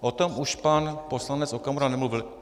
O tom už pan poslanec Okamura nemluvil.